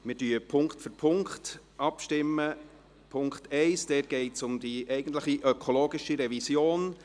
Im Punkt 1 geht es um die eigentlich ökologische Revision.